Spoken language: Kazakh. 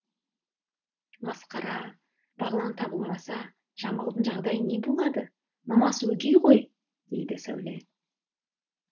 масқара бағлан табылмаса жамалдың жағдайы не болады мамасы өгей ғой дейді сәуле